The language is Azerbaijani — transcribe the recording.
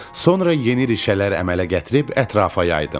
Sonra yeni rişələr əmələ gətirib ətrafa yaydım.